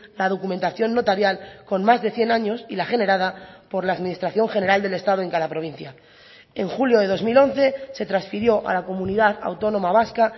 la documentación notarial con más de cien años y la generada por la administración general del estado en cada provincia en julio de dos mil once se transfirió a la comunidad autónoma vasca